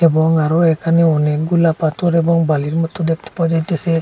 এবং আরো এখানে অনেকগুলা পাথর এবং বালির মতো দেখতে পাওয়া যাইতাছে।